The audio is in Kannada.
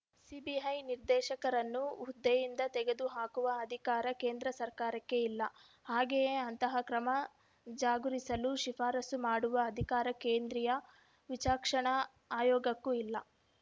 ಸಿಬಿಐ ನಿರ್ದೇಶಕರನ್ನು ಹುದ್ದೆಯಿಂದ ತೆಗೆದುಹಾಕುವ ಅಧಿಕಾರ ಕೇಂದ್ರ ಸರ್ಕಾರಕ್ಕೆ ಇಲ್ಲ ಹಾಗೆಯೇ ಅಂತಹ ಕ್ರಮ ಜಗುರಿಸಲು ಶಿಫಾರಸು ಮಾಡುವ ಅಧಿಕಾರ ಕೇಂದ್ರೀಯ ವಿಚಕ್ಷಣ ಆಯೋಗಕ್ಕೂ ಇಲ್ಲ